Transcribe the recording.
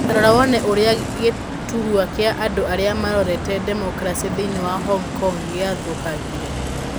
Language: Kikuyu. Ta rora wone ũrĩa gĩturũa kĩa andũ arĩa marorete demokarasi thĩinĩ wa Hong Kong gĩathũkangire.